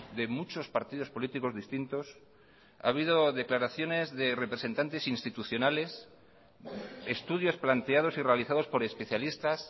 de muchos partidos políticos distintos ha habido declaraciones de representantes institucionales estudios planteados y realizados por especialistas